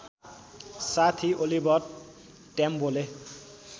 साथी ओलिभर ट्याम्बोले